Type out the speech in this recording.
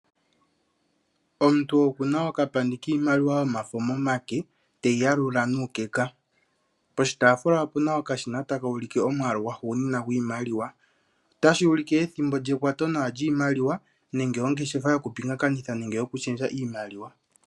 Omuntu okuna okapandi kiimaliwa momake, teyi yalula nuukeka, poshitaafula opuna okashina takuulike omwaalu gwahugunina gwiimaliwa, otashuulike ethimbo lyekwato nawa lyiimaliwa nenge ongeshefa yoku pingakanitha iimaliwa nenge yoku shendja iimaliwa.